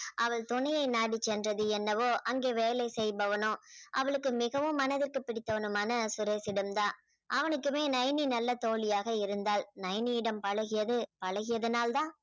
அவள் துணையை நாடி சென்றது என்னவோ அங்கே வேலை செய்பவனோ அவளுக்கு மிகவும் மனதிற்கு பிடித்தவனுமான சுரேஷிடம்தான் அவனுக்குமே நைனி நல்ல தோழியாக இருந்தாள் நைனியிடம் பழகியது பழகியதுனால்தான்